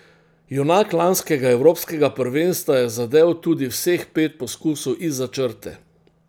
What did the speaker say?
Junak lanskega evropskega prvenstva je zadel tudi vseh pet poskusov izza črte.